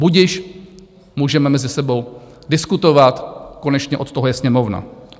Budiž - můžeme mezi sebou diskutovat, konečně od toho je Sněmovna.